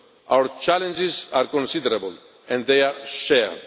Our challenges are considerable and they are shared.